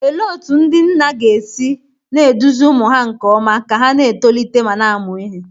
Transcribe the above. Olee otú ndị nna ga-esi na-eduzi ụmụ ha nke ọma ka ha na-etolite ma na-amụ ihe?